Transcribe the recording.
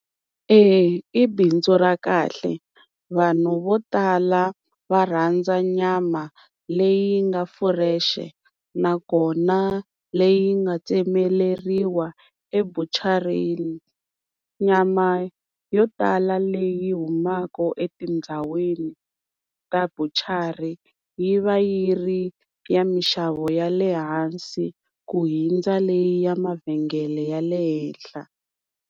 E i bindzu ra kahle. Vanhu vo tala va rhandza nyama leyi nga fresh nakona leyi nga tsemeleriwa ebuchareni. Nyama yo tala leyi humaka etindhawini ta buchara yi va yi ri ya mixavo ya le hansi ku hundza leyi ya mavhengele ya le henhla